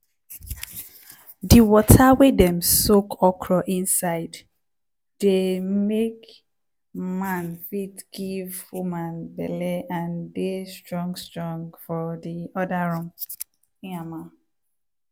di water wey dem soak okro inside dey make man fit give woman belle and dey strong strong for di oda room.